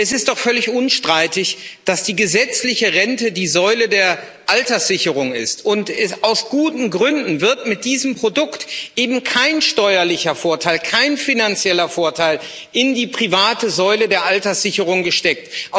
Es ist doch völlig unstreitig, dass die gesetzliche Rente die Säule der Alterssicherung ist, und aus guten Gründen wird mit diesem Produkt eben kein steuerlicher Vorteil, kein finanzieller Vorteil in die private Säule der Alterssicherung gesteckt.